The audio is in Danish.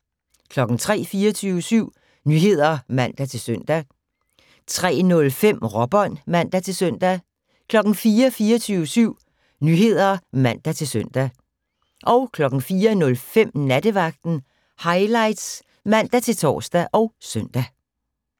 03:00: 24syv Nyheder (man-søn) 03:05: Råbånd (man-søn) 04:00: 24syv Nyheder (man-søn) 04:05: Nattevagten Highlights (man-tor og søn)